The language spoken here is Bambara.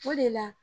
O de la